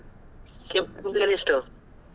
ಕೆಂಪು ಕಲ್ಲು ಎಷ್ಟು?